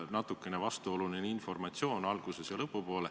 Natukene vastuoluline informatsioon.